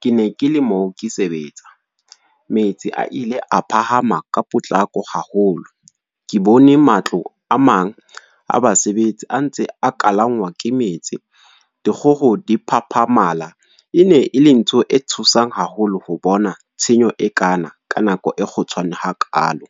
Ke ne ke le moo ke sebetsa. Metsi a ile a phahama ka potlako haholo. Ke bone matlo a mang a basebetsi a ntse a kalangwa ke metsi. Dikgoho diphaphamala, ene le ntho e tshosang haholo ho bona tshenyo e kana, ka nako e kgutshwane ha kalo.